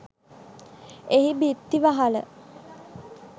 එහි බිත්ති වහල